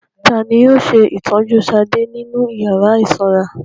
Ta ni yóò ṣe ìtọ́jú Ṣadé nínú ìyàrá ìsanra?